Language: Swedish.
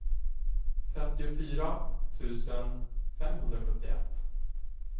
femtiofyra tusen femhundrasjuttioett